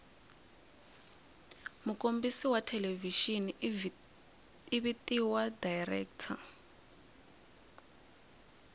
mukombisi wathelevishini ivhitiwa director